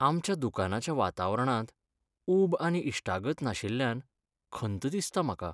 आमच्या दुकानाच्या वातावरणांत ऊब आनी इश्टागत नाशिल्ल्यान खंत दिसता म्हाका.